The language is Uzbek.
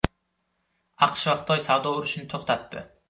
AQSh va Xitoy savdo urushini to‘xtatdi.